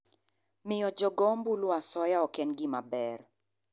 Miyo jogoombulu asoya ok en gima ber.